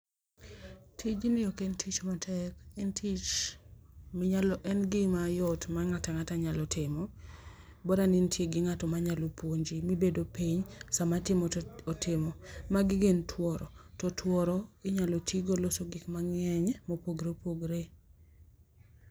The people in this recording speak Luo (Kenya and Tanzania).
Tijni ok en tich matek ,en tich ,minyalo, en gima yot ma ng'at ang'ata nyalo timo bora ni in gi ng'ato manyalo puonji mibedo piny sama atimo to otimo. Magi gin tuoro to tuoro inyalo tigo loso gik mangeny ma opogore opogore